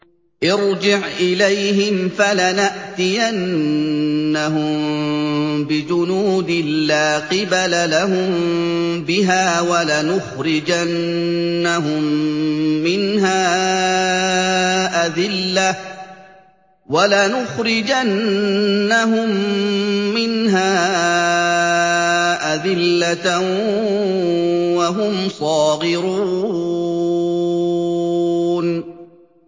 ارْجِعْ إِلَيْهِمْ فَلَنَأْتِيَنَّهُم بِجُنُودٍ لَّا قِبَلَ لَهُم بِهَا وَلَنُخْرِجَنَّهُم مِّنْهَا أَذِلَّةً وَهُمْ صَاغِرُونَ